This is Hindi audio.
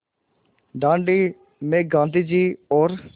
दाँडी में गाँधी जी और